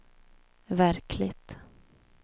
verkligt